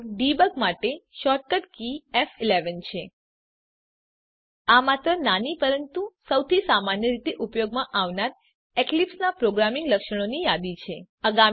તો ડેબગ માટે shortcut key ફ11 છે આ માત્ર નાની પરંતુ સૌથી સામાન્ય રીતે ઉપયોગમાં આવનાર એક્લીપ્સનાં પ્રોગ્રામિંગ લક્ષણોની યાદી છે